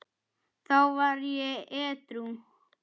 Þá var ég edrú.